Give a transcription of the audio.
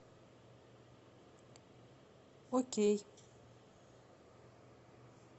окей